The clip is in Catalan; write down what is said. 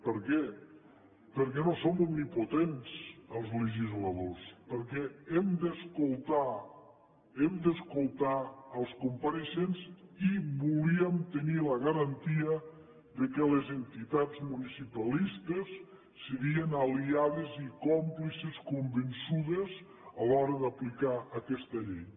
per què perquè no som omnipotents els legisladors perquè hem d’escoltar els compareixents i volíem tenir la garantia que les entitats municipalistes serien aliades i còmplices convençudes a l’hora d’aplicar aquesta llei